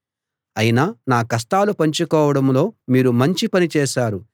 అయినా నా కష్టాలు పంచుకోవడంలో మీరు మంచి పని చేశారు